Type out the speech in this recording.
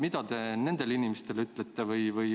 Mida te nendele inimestele ütlete?